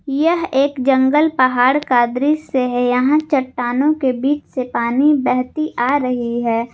यह एक जंगल पहाड़ का दृश्य है यहां चट्टानों के बीच से पानी बहती आ रही है।